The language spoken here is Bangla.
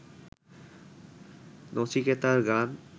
নচিকেতার গান